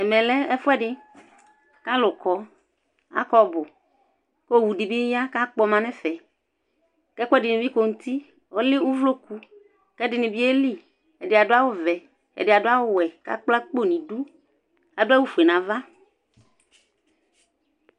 ɛmɛ lɛ ɛƒʋɛdi kʋ alʋ kɔ, akɔ ɔbʋ kʋ ɔwʋ dibi ya kʋ akpɔma nʋ ɛƒɛ kʋ ɛkuɛdini bi kɔnʋ ʋti, ɔlɛ ʋvlɔkʋ kʋ ɛdini bi yɛli, ɛdibadʋbawʋ vɛ ɛdi adʋ awʋ vɛ kʋ akpɔ nidʋ, adʋ awʋ ƒʋɛ nʋ aɣa